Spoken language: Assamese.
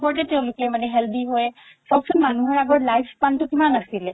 খদ্য ওপতে মানে তেওলোকে healthy হয় চাওকচোন মানুহৰ আগৰ life span তো কিমান আছিলে